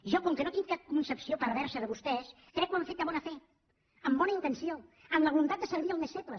jo com que no tinc cap concepció perversa de vostès crec que ho han fet de bona fe amb bona intenció amb la voluntat de servir els més febles